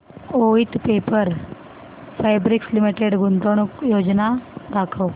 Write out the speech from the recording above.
Voith paper fabrics limited गुंतवणूक योजना दाखव